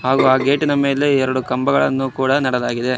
ಹಾಗೂ ಆ ಗೇಟಿ ನ ಮೇಲೆ ಎರಡು ಕಂಬಗಳನ್ನು ಕೂಡ ನೆಡಲಾಗಿದೆ.